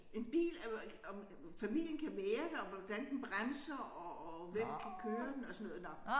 En bil er jo om familien kan være der og hvordan den bremser og og hvem kan køre den og sådan noget nåh